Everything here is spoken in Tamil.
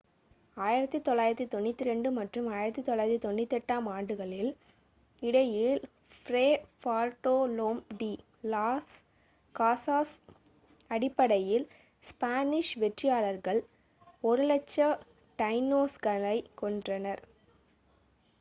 1492 மற்றும் 1498-ஆம் ஆண்டுகளுக்கு இடையில் Fray Bartolome de las Casas Tratado de las Indias அடிப்படையில் ஸ்பானிஷ் வெற்றியாளர்கள் 100,000 டைனோஸ்களைக் கொன்றனர்